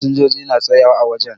Fasinjoji na tsayawa ã wajen